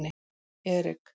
Erik